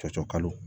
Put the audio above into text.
Cɔcɔkalo